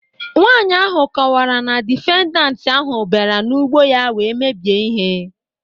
Nwaanyị ahụ kọwara na difendant ahụ bịara n'ụgbọ ya wee mebie ihe